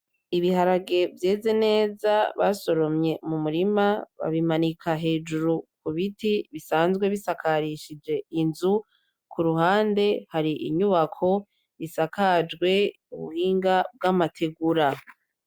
Ibiharage vyeze neza basoromye mu murima babimanika hejuru kubiti bisanzwe bisakarishije inzu. Ku ruhande hari inyubako isakajwe ubuhinga bw'amategura